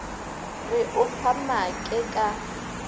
re o fa maake ka